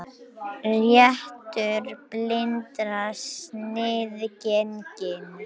Réttur blindra sniðgenginn